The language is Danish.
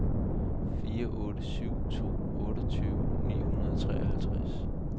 fire otte syv to otteogtyve ni hundrede og treoghalvtreds